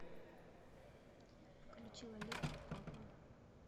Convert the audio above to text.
включи лолиту папа